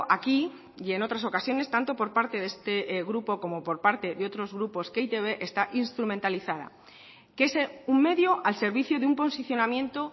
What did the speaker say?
aquí y en otras ocasiones tanto por parte de este grupo como por parte de otros grupos que e i te be está instrumentalizada que es un medio al servicio de un posicionamiento